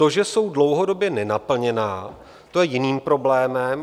To, že jsou dlouhodobě nenaplněná, to je jiný problém.